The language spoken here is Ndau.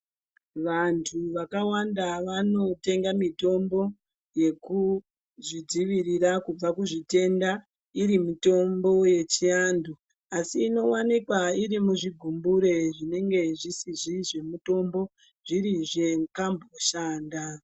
Vantu vakawanda vanotenga mitombo, yekuzvidzivirira kubva kuzvitenda, iri mitombo yechiantu, asi inowanikwa iri muzvigumbure zvinenge zvisizi zvemutombo, zviri zvekamboshanda.